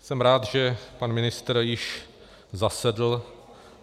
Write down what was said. Jsem rád, že pan ministr již zasedl.